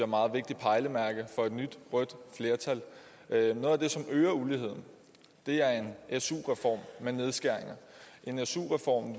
meget vigtigt pejlemærke for et nyt rødt flertal noget af det som øger uligheden er en su reform med nedskæringer en su reform